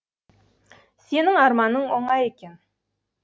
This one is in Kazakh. сенің арманың оңай екен